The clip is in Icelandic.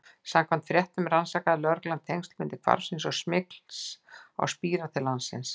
Samkvæmt fréttum rannsakaði lögreglan tengsl milli hvarfsins og smygls á spíra til landsins.